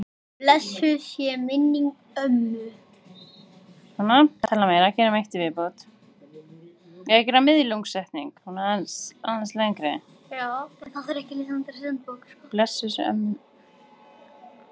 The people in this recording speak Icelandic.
Blessuð sé minning ömmu.